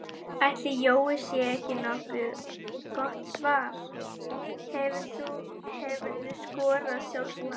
Ætli Jói sé ekki nokkuð gott svar Hefurðu skorað sjálfsmark?